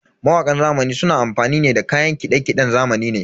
Mawakan zamani suna amfani ne da kayan kiɗe-kiɗen zamani ne.